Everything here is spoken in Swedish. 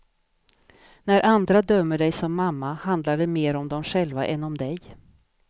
När andra dömer dig som mamma, handlar det mer om dem själva än om dig.